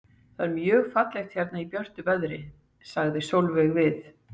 Það er mjög fallegt hérna í björtu veðri, sagði Sóley við